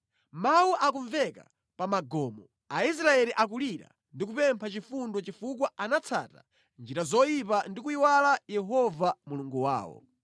Mawu akumveka pa magomo, Aisraeli akulira ndi kupempha chifundo chifukwa anatsata njira zoyipa ndi kuyiwala Yehova Mulungu wawo.